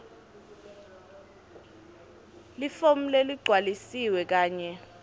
lifomu leligcwalisiwe kanye